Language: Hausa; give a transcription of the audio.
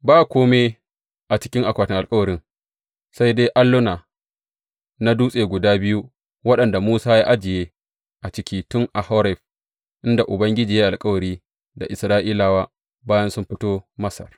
Ba kome a cikin akwatin alkawarin, sai dai alluna na dutse guda biyu waɗanda Musa ya ajiye a ciki tun a Horeb, inda Ubangiji ya yi alkawari da Isra’ilawa bayan sun fito Masar.